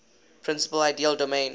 principal ideal domain